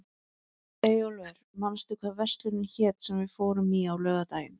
Eyjólfur, manstu hvað verslunin hét sem við fórum í á laugardaginn?